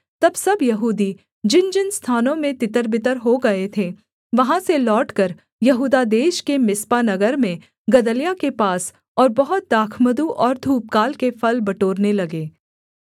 तब सब यहूदी जिनजिन स्थानों में तितरबितर हो गए थे वहाँ से लौटकर यहूदा देश के मिस्पा नगर में गदल्याह के पास और बहुत दाखमधु और धूपकाल के फल बटोरने लगे